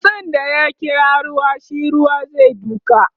tsutsun da ya kira ruwa shi Ruwa zai duka